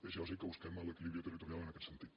és lògic que busquem l’equilibri territorial en aquest sentit